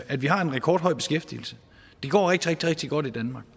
at vi har en rekordhøj beskæftigelse det går rigtig rigtig godt i danmark